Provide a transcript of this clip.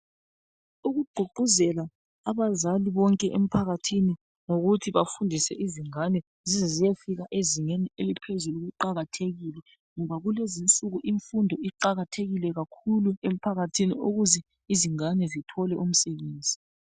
Ukugqugquzela abazali bonke emphakathini ngokuthi bafundise izingane zizeziyefika ezingeni eliphezulu kuqakathekile ngoba kulezinsuku imfundo iqakathekile kakhulu emphakathini ukuze izingane zithole umsebenzi.